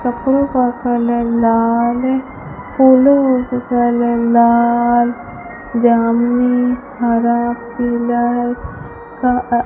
कपड़ों का कलर लाल फूलों का कलर लाल जामुनी हरा पीला है का --